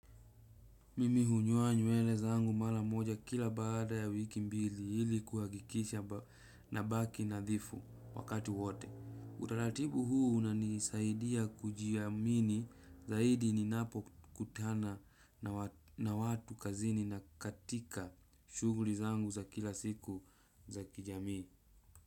Mimi hunyoa nyewele zangu mara moja kila baada ya wiki mbili hili kuhakikisha nabaki nadhifu wakati wote. Utaratibu huu unanisaidia kujiamini zaidi ninapokutana na watu kazini na katika shughuli zangu za kila siku za kijamii.